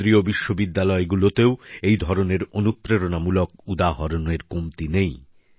কেন্দ্রীয় বিশ্ববিদ্যালয়গুলিতেও এই ধরনের অনুপ্রেরণামূলক উদাহরণের কমতি নেই